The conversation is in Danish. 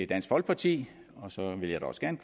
dansk folkeparti og så vil jeg da også gerne